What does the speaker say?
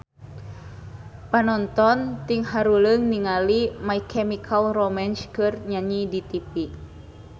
Panonton ting haruleng ningali My Chemical Romance keur nyanyi di tipi